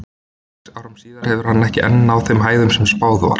Sex árum síðar hefur hann enn ekki náð þeim hæðum sem spáð var.